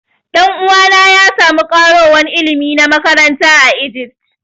Dan'uwa na ya samu karowan ilimi na makaranta a Egypt.